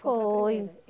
Foi.